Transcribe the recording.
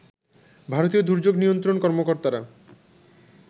ভারতীয় দুর্যোগ নিয়ন্ত্রণ কর্মকর্তারা